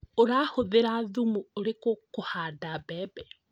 Urahũthĩra thumu ũrĩkũ kũhanda mbembe?